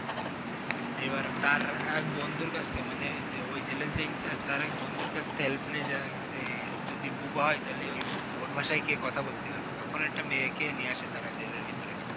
এইবার তার এক বন্ধুর কাছ থেকে মানে যে ওই জেলের যে Incharge, তার এক বন্ধুর কাছ থেকে হেল্প নিয়ে যায় যে যদি বুবা হয় তাহলে ওর ভাষায় কে কথা বলতে পারবে, তখন একটা মেয়েকে নিয়ে আসে তারা জেলের ভিতরে।